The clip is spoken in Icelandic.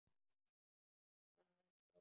Það er sól.